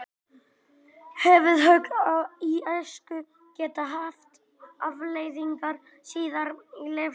Höfuðhögg í æsku geta haft afleiðingar síðar á lífsleiðinni.